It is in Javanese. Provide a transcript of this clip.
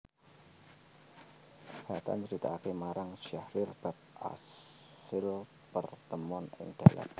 Hatta nyritakaké marang Syahrir bab asil partemon ing Dalat